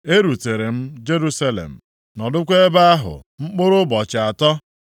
E rutere m Jerusalem, nọdụkwa ebe ahụ mkpụrụ ụbọchị atọ,